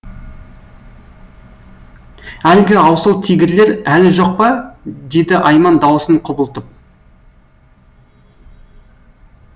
әлгі аусыл тигірлер әлі жоқ па деді айман даусын құбылтып